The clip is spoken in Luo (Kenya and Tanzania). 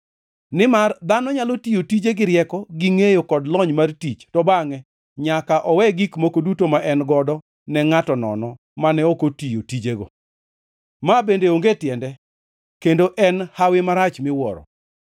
Nimar dhano nyalo tiyo tije gi rieko, gi ngʼeyo kod lony mar tich, to bangʼe nyaka owe gik moko duto ma en godo ne ngʼato nono mane ok otiyo tijego. Ma bende onge tiende kendo en hawi marach miwuoro.